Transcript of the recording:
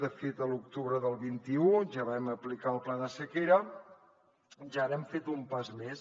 de fet a l’octubre del vint un ja vam aplicar el pla de sequera i ara hem fet un pas més